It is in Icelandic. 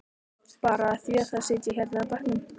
Bara af því að sitja hérna á bekkjunum.